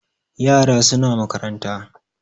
Yara suna makaranta